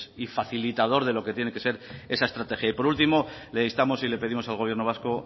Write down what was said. y facilitador de lo que tiene que ser esa estrategia y por último le instamos y le pedimos al gobierno vasco